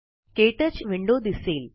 के touch window दिसेल